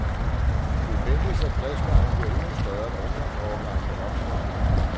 Det ventes, at pladsmanglen bliver endnu større, når ungdomsårgangene vokser igen.